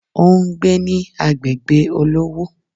O n gbé ní agbègbè olówó